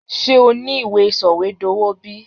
Sé o ni ìwé sọ̀wédowó bi?